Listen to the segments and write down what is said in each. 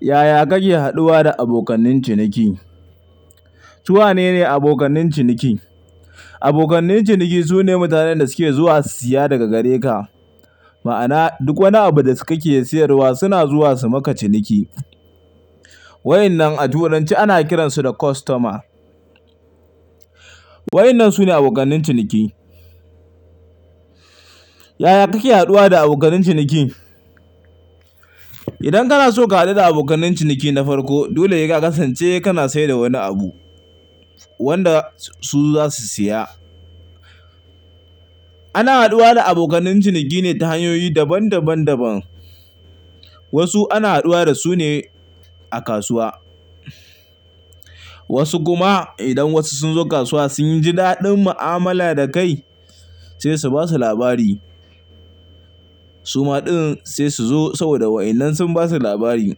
Yaya kake haduwa da abokan ciniki? Su wane ne abokan ciniki? Abokan ciniki sune mutanen da suke zuwa su siya daga gare ka. Ma'ana duk wani abu da kake siyarwa suna zuwa su maka ciniki. Wa'innan a turanci ana kiransu da customer. Wa'innan sune abokan ciniki. Yaya kake haduwa da abokan ciniki? Idan kana so ka hadu da abokan ciniki na farko dole seka kasance kana saida wani abu wanda su zasu siya. Ana haduwa da abokan ciniki ne ta hanyoyi daban daban daban. Wasu ana haduwa da su ne a kasuwa, wasu kuma idan wasu sunzo kasuwa sunji daɗin mu'amala da kai sai su basa labari suma din sai suzo saboda wa'innan sun basu labari.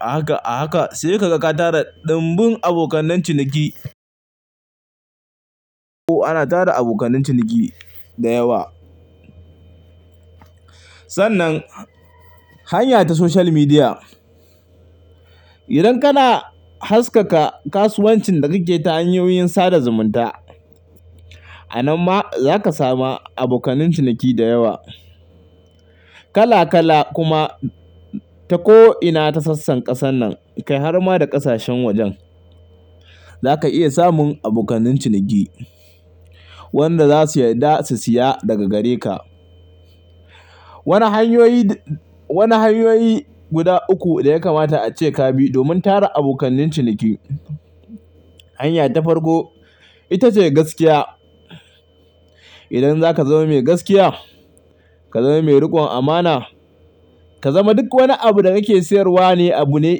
A haka a haka sai ka ga ka tara dimbin abokan ciniki. Ko ana tara abokan ciniki da yawa. Sannan hanya ta social media. Idan kana haskaka kasuwancin da kake ta hanyoyin sada zumunta a nan ma zaka samu abokan ciniki da yawa kala kala kuma ta ko'ina ta sassan ƙasan nan, kai har ma da ƙasashen wajen. Zaka iya samun abokan ciniki wanda zasuyi da su siya daga gare ka. Wani hanyoyi, wani hanyoyi guda uku da yakamata ace kabi domin tara abokan ciniki. Hanya ta farko ita ce gaskiya. Idan zaka zama mai gaskiya, ka zama mai rikon amana, ka zama duk wani abu da kake siyarwa ne abu ne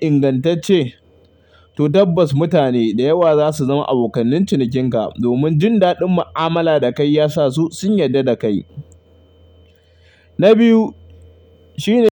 ingantacce to tabbas mutane da yawa zasu zama abokan cinikin ka domin jin daɗin mu'amala da kai yasasu sun yarda da kai. Na biyu shine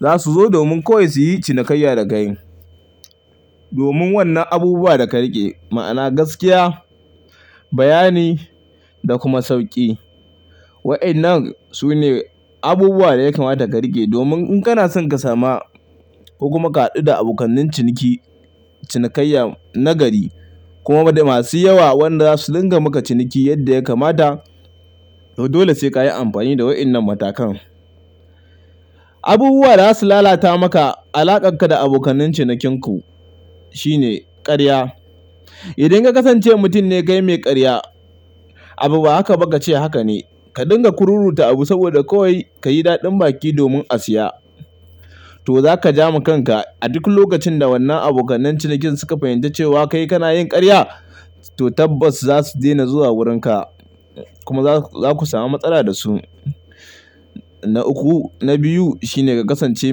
zasuzo domin koyaushe yin cinikayya da kai. Domin wannan abubuwa da ka rike ma'ana gaskiya, bayani da kuma sauki. Wa'innan sune abubuwa da yakamata ka rike domin in kana son ka sama ko kuma ka hadu da abokan ciniki cinikayya na gari kuma da masu yawa wanda zasu dinga maka ciniki yadda yakamata to dole sai kayi amfani da wa'innan matakan. Abubuwa zasu lalata maka alakar ka da abokan cinikin ku shine karya. Idan ka kasance mutum ne kai mai karya abu ba haka ba ka ce haka ne. Ka dinga kururuta abu saboda kawai kayi daɗin baki domin a siya to zaka jama kanka. A duk lokacin da wannan abokan cinikin suka fahimci cewa kai kana yin karya to tabbas zasu dena zuwa wurin ka kuma zaku samu matsala da su. Na uku, na biyu shine ka kasance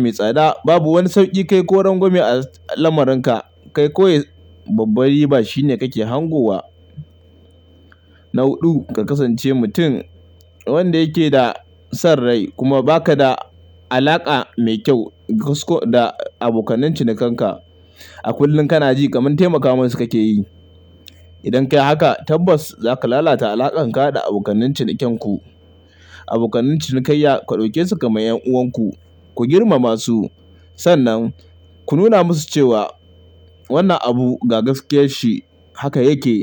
mai tsada. Babu wani sauki kai ko rangwame a lamarin ka. Kai kawai babbar riba shine kake hangowa. Na huɗu ka kasance mutum wanda yake da san rai kuma baka da alaka mai kyau da abokan cinikan ka. A kullum kana ji kaman taimaka musu kake yi. Idan kai haka tabbas zaka lalata alakar ka da abokan ciniken ku. Abokan cinikayya ka daukesu kamar 'yan'uwan ku, ku girmama su. Sannan ku nuna musu cewa wannan abu ga gaskiyar shi haka yake.